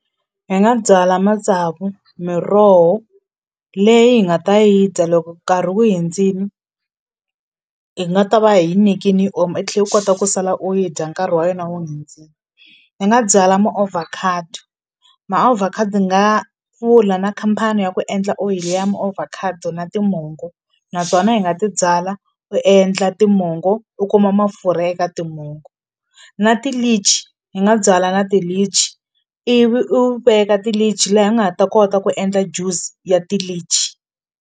Hi nga byala matsavu miroho leyi hi nga ta yi dya loko nkarhi wu hindzini hi nga ta va hi yi nekini yi oma i tlhe u kota ku sala u yi dya nkarhi wa yena wu hindzini ni nga byala muovhakhado maovhakhado nga pfula na khampani ya ku endla oyili ya muovhakhado na timongo na tona hi nga ti byala u endla timongo u kuma mafurha eka timongo na ti-litchi ni nga byala na ti-litch ivi u veka ti-litchi laha i nga ha ta kota ku endla just ya ti-litchi.